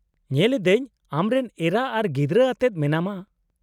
-ᱧᱮᱞ ᱮᱫᱟᱹᱧ ᱟᱢᱨᱮᱱ ᱮᱨᱟ ᱟᱨ ᱜᱤᱫᱽᱨᱟᱹ ᱟᱛᱮᱫ ᱢᱮᱱᱟᱢᱟ ᱾